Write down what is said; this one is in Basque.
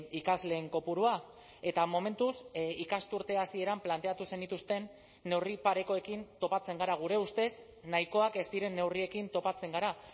ikasleen kopurua eta momentuz ikasturte hasieran planteatu zenituzten neurri parekoekin topatzen gara gure ustez nahikoak ez diren neurriekin topatzen gara